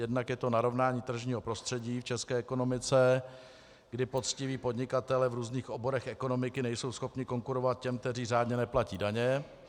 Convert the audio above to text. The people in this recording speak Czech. Jednak je to narovnání tržního prostředí v české ekonomice, kdy poctiví podnikatelé v různých oborech ekonomiky nejsou schopni konkurovat těm, kteří řádně neplatí daně.